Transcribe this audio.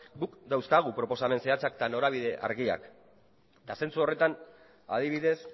guk dauzkagu proposamen zehatzak eta norabide argiak eta zentzu horretan adibidez